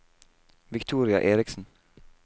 Victoria Eriksen